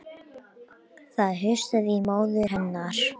Það hnussaði í móður hennar